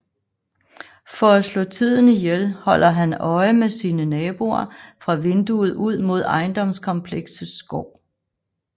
For at slå tiden ihjel holder han øje med sine naboer fra vinduet ud mod ejendomskompleksets gård